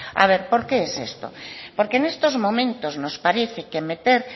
a ver por qué es esto porque en estos momentos nos parece que meter